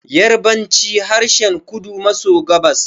Yarabanci harshen kudu maso gabas